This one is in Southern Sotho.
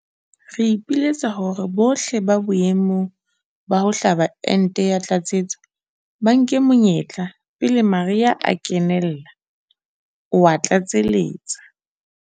Re ipiletsa hore bohle ba boemong ba ho hlaba ente ya tlatsetso ba nke monyetla pele mariha a kenella, o a tlatseletsa.